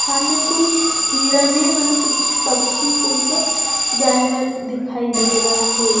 सामने कुछ हीरने माने कुछ पक्षी कोई सा जानवर दिखाई दे रहा है।